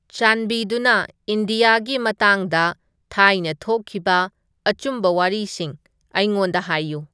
ꯆꯥꯟꯕꯤꯗꯨꯅ ꯏꯅꯗꯤꯌꯥꯒꯤ ꯃꯇꯥꯡꯗ ꯊꯥꯏꯅ ꯊꯣꯛꯈꯤꯕ ꯑꯆꯨꯝꯕ ꯋꯥꯔꯤꯁꯤꯡ ꯑꯩꯉꯣꯟꯗ ꯍꯥꯏꯌꯨ